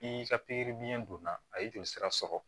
N'i ka pikiri biyɛn donna a ye joli sira sɔrɔ